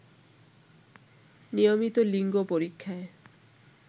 নিয়মিত লিঙ্গ পরীক্ষায়